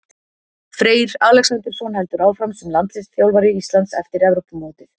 Freyr Alexandersson heldur áfram sem landsliðsþjálfari Íslands eftir Evrópumótið.